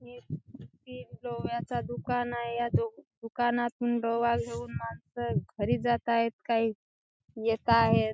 हे एक गोव्याचा दुकान आहे या दुकानात गोवा घेऊन मानस घरी जात आहे काही येत आहेत.